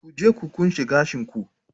Ku je ku kunce gashin ku.